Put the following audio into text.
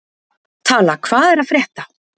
Tala, hvað er að frétta?